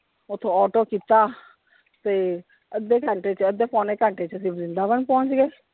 ਓਥੋਂ auto ਕੀਤਾ ਤੇ ਅੱਧੇ ਘੰਟੇ ਚ ਅੱਧੇ ਪੌਣੇ ਘੰਟੇ ਚ ਅਸੀਂ ਵ੍ਰਿੰਦਾਵਨ ਪਹੁੰਚ ਗਏ।